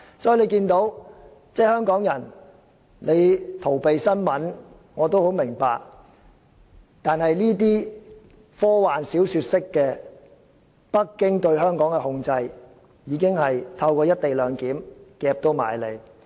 所以，大家看到香港人逃避新聞，我也很明白，但北京對香港科幻小說式的控制已經透過"一地兩檢"安排迫在眉睫。